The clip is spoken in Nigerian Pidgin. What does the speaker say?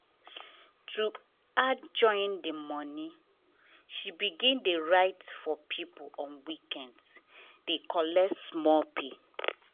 to add join her money she begin dey write for people on weekends dey collect small pay.